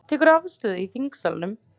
Tekur afstöðu í þingsalnum